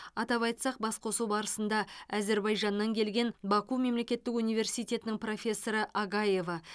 атап айтсақ басқосу барысында әзербайжаннан келген баку мемлекеттік университетінің профессоры агаева